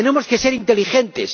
Tenemos que ser inteligentes.